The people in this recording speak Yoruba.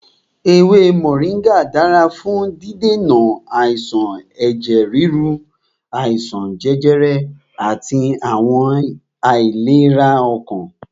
Ewé Mọ̀ríngà dára fún dídènà àìsàn ẹ̀jẹ̀ ríru, àìsàn jẹjẹrẹ àti àwọn àìlera ọkàn.